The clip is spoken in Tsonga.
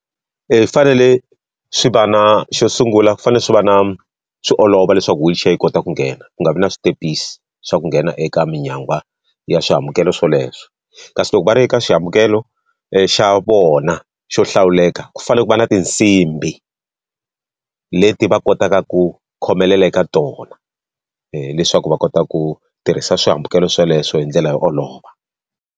swi fanele swi va na xo sungula ku fanele swi va na swi olova leswaku wheelchair yi kota ku nghena ku nga vi na switepisi swa ku nghena eka minyangwa ya swihambukelo swoleswo. Kasi loko va ri eka xihambukelo xa vona xo hlawuleka, ku fanele ku va na tinsimbhi leti va kotaka ku khomelela eka tona leswaku va kota ku tirhisa swihambukelo sweleswo hi ndlela yo olova.